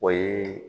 O ye